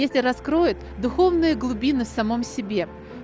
если раскроют духовные глубины в самом себе